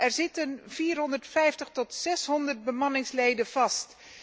Er zitten 450 tot 600 bemanningsleden vast.